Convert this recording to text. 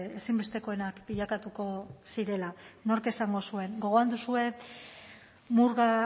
ezinbestekoenak bilakatuko zirela nork esango zuen gogoan duzue murga